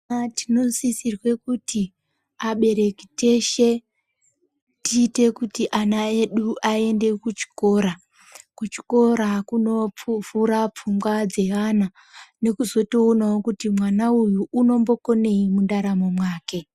Tinosisirwe kuti abereki teshe tiite kuti ana edu aende kuchikora, kuchikora kunovhura pfungwa dzeana nekuzoonawo kuti mwana uyu unombokonei mundaramo mwake.